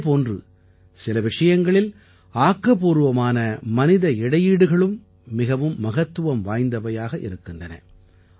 இதே போன்று சில விஷயங்களில் ஆக்கப்பூர்வமான மனித முயற்சிகள் மிகவும் மகத்துவம் வாய்ந்தவையாக இருக்கின்றன